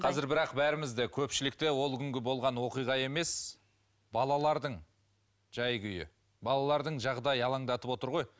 қазір бірақ бәрімізді көпшілікті ол күнгі болған оқиға емес балалардың жай күйі балалардың жағдайы алаңдатып отыр ғой